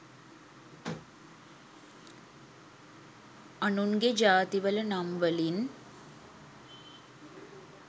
අනුන්ගෙ ජාතිවල නම් වලින්